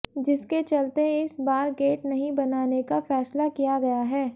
जिसके चलते इस बार गेट नहीं बनाने का फैसला किया गया है